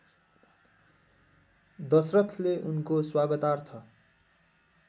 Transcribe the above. दशरथले उनको स्वागतार्थ